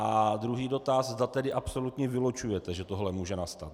A druhý dotaz, zda tedy absolutně vylučujete, že tohle může nastat.